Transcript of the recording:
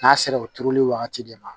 N'a sera o turuli wagati de ma